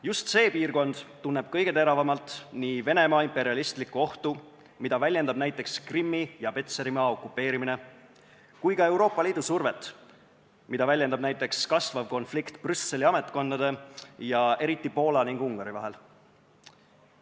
Just see piirkond tunneb kõige teravamalt nii Venemaa imperialistlikku ohtu, mida väljendab näiteks Krimmi ja Petserimaa okupeerimine, kui ka Euroopa Liidu survet, mida väljendab näiteks kasvav konflikt Brüsseli ametkondade ning eriti Poola ja Ungari vahel.